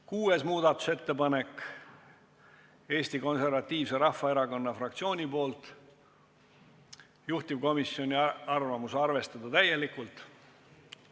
6. muudatusettepanek on Eesti Konservatiivse Rahvaerakonna fraktsioonilt, juhtivkomisjoni arvamus on, et seda tuleks arvestada täielikult.